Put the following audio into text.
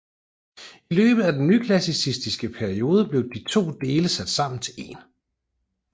I løbet af den nyklassicistiske periode blev de to dele sat sammen til en